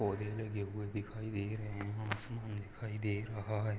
पौधे लगे हुए दिखाई दे रहे हैं आसमान दिखाई दे रहा है।